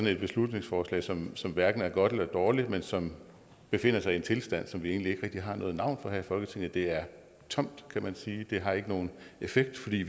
et beslutningsforslag som som hverken er godt eller dårligt men som befinder sig i en tilstand som vi egentlig ikke rigtig har noget navn for her i folketinget det er tomt kan man sige det har ikke nogen effekt fordi